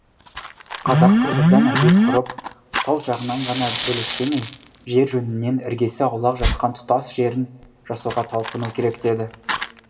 қазақ қырғыздан әдет ғұрып салт жағынан ғана бөлектемей жер жөнінен іргесі аулақ жатқан тұтас орыс жерін жасауға талпыну керек деді